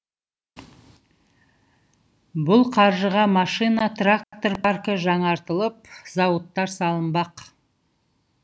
бұл қаржыға машина трактор паркі жаңартылып зауыттар салынбақ